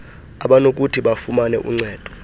abanokuthi bafumane uncedo